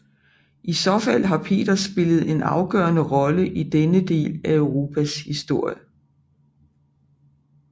I så fald har Peter spillet en afgørende rolle i denne del af Europas historie